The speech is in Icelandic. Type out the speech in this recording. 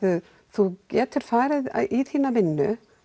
þú getir farið í vinnuna